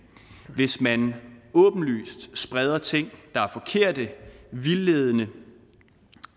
hvis man åbenlyst spreder ting der er forkerte vildledende